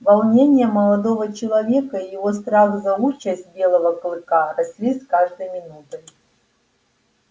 волнение молодого человека и его страх за участь белого клыка росли с каждой минутой